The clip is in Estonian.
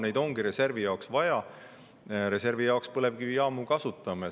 Neid ongi reservi jaoks vaja ja reservi jaoks me põlevkivijaamu kasutame.